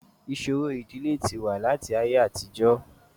Ìṣòro ìdílé ti wà láti ayé àtijọ́